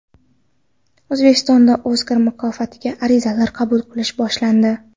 O‘zbekistonda Oskar mukofotiga arizalar qabul qilish boshlandi.